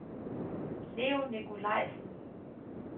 Leo Nikolajsen